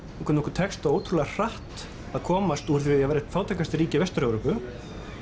hvernig okkur tekst ótrúlega hratt að komast úr því að vera eitt fátækasta ríki Vestur Evrópu